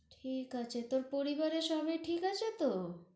ঠিক আছে, তোর পরিবারের সবাই ঠিক আছে তহ?